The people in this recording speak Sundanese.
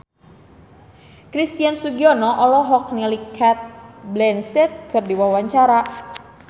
Christian Sugiono olohok ningali Cate Blanchett keur diwawancara